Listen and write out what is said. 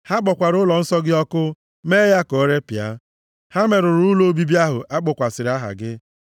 Ha kpọkwara ụlọnsọ gị ọkụ, mee ya ka o repịa. Ha merụrụ ụlọ obibi ahụ a kpọkwasịrị aha gị.